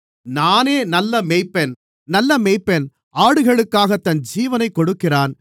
நானே நல்ல மேய்ப்பன் நல்ல மேய்ப்பன் ஆடுகளுக்காகத் தன் ஜீவனைக் கொடுக்கிறான்